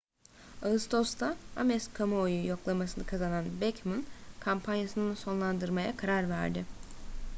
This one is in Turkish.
ağustos'ta ames kamuoyu yoklaması'nı kazanan bachmann kampanyasını sonlandırmaya karar verdi